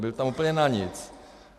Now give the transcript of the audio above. Byl tam úplně na nic.